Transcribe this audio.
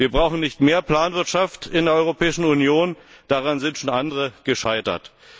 Wir brauchen nicht mehr Planwirtschaft in der Europäischen Union, daran sind schon andere gescheitert.